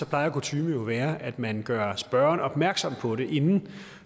plejer kutyme jo at være at man gør spørgeren opmærksom på det inden